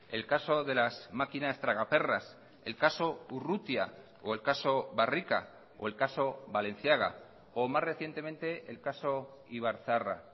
el caso de las máquinas tragaperras el caso urrutia o el caso barrika o el caso balenciaga o más recientemente el caso ibarzaharra